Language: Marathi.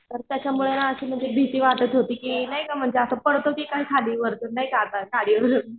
तर त्याच्यामुळे ना अशी म्हणजे भीती वाटत होती कि म्हणजे असं पडतो कि काय खाली वरतून नाही का आता